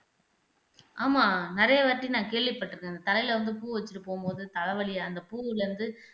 ஆமா நிறைய வாட்டி நான் கேள்விப்பட்டிருக்கேன் தலையில வந்து பூ வச்சிட்டு போகும்போது தலை வலி அந்த பூவுல இருந்து